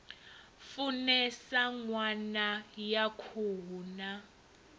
funesa ṋama ya khuhu na